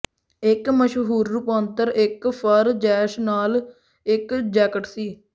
ਇੱਕ ਮਸ਼ਹੂਰ ਰੁਪਾਂਤਰ ਇੱਕ ਫਰ ਜੈਸ਼ ਨਾਲ ਇੱਕ ਜੈਕਟ ਸੀ